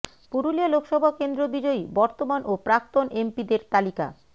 পুরুলিয়া লোকসভা কেন্দ্র বিজয়ী বর্তমান ও প্রাক্তন এমপিদের তালিকা